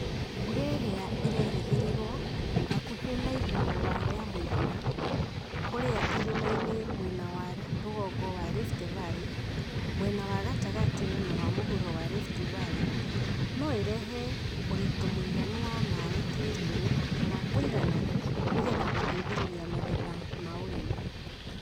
Mbura ĩrĩa ĩrerigĩrĩrũo, hakuhĩ na igũrũ wa ya mũigana, kũrĩa irĩmainĩ mwena wa rũgongo wa Rift Valley, mwena wa gatagatĩ na wa mũhuro wa Rift Valley, no ĩrehe urĩtũ mũiganu wa maĩ tĩriinĩ na wa kũigana nĩgetha gũteithĩrĩria magetha ma ũrĩmi.